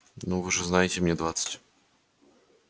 ну вы же знаете мне двадцать